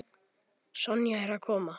Sonja er að koma.